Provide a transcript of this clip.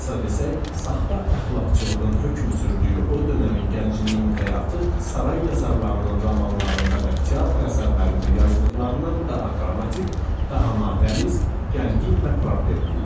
Qısa desək, saxta əxlaqçılığın hökm sürdüyü o dövrün gəncliyinin həyatı saray yazarlarının romanlarında və teatr əsərlərində yazdıqlarından daha dramatik, daha natəmiz, gərgin və problemli idi.